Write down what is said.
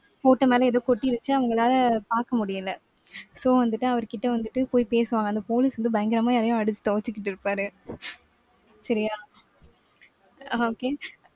photo மேல ஏதோ கொட்டிருச்சு. அவங்களால பார்க்க முடியலை. so வந்துட்டு அவர் கிட்ட வந்துட்டு போய் பேசுவாங்க. அந்த police வந்து பயங்கரமா எதையும் அடிச்சு துவைச்சுக்கிட்டு இருப்பாரு சரியா. அஹ் okay